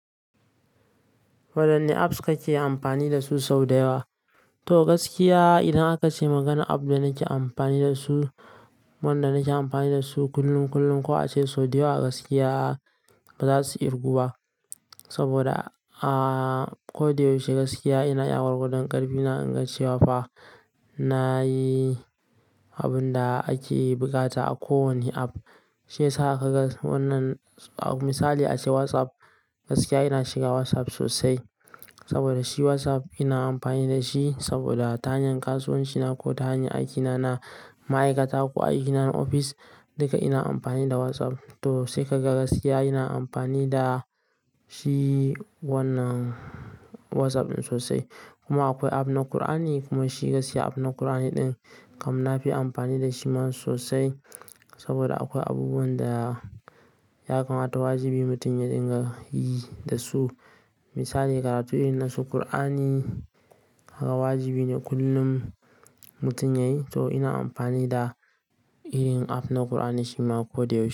Wayanne apps kake amfani dasu sau da yawa? To gaskiya idan aka ce maganan app da nake amfani da su, wanda nake amfani da su kullum kullum ko a ce sau da yawa gaskiya ba za su irgu ba. Saboda, a ko da yaushe gaskiya ina iya gwargwadon ƙarfi na ingacewa. Fa nayi abun da ake buƙata a ko wanne app. Sai sa ka ga wannan misali a ce WhatsApp, gaskiya ina shiga WhatsApp sosai. Saboda shi WhatsApp ina amfani da shi saboda ta hanyar kasuwanci na ko ta hanyar aiki na, na ma'aikata ko aiki na na ofis duka ina amfani da WhatsApp. To sai ka ga gaskiya ina amfani da shi wannan WhatsApp ɗin sosai. Kuma akwai app na ƙur'ani kuma shi gaskiya app na ƙur'ani ɗin kam na fi amfani da shi ma sosai. Saboda akwai abubuwan da ya kamata wajibi mutum ya dinga yi da su. Misali karatu irin na su ƙur'ani kaga wajibi ne kullum mutum ya yi. To ina amfani da irin app na ƙur'ani shi ma ko da yaushe.